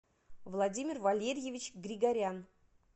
владимир валерьевич григорян